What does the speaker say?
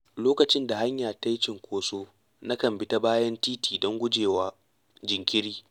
Lokacin da hanya ta yi cunkoso, na kan bi ta bayan titi don gujewa jinkiri.